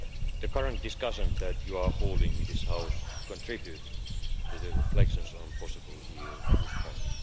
The current discussions that you are holding in this House contribute to the reflections on the possible EU response.